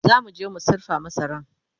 zamuje mu sirfa masaran